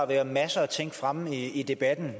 været masser af ting fremme i debatten